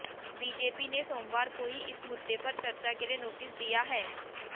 BJP ने सोमवार को ही इस मुद्दे पर चर्चा के लिए नोटिस दिया है